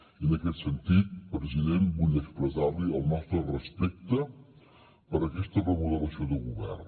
i en aquest sentit president vull expressar li el nostre respecte per aquesta remodelació de govern